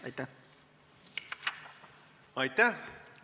Aitäh!